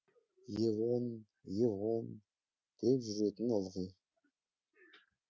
евон евон деп жүретін ылғи